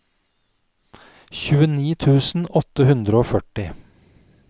tjueni tusen åtte hundre og førti